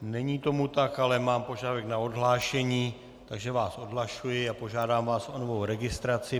Není tomu tak, ale mám požadavek na odhlášení, takže vás odhlašuji a požádám vás o novou registraci.